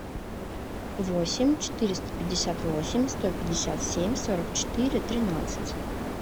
восемь четыреста пятьдесят восемь сто пятьдесят семь сорок четыре тринадцать